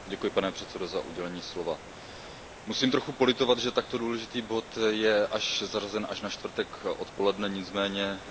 Musím trochu politovat, že takto důležitý bod je zařazen až na čtvrtek odpoledne, nicméně nedá se nic dělat, s tímto se musíme smířit.